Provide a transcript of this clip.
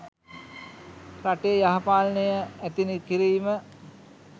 රටේ යහ පාලනය ඇති කිරීම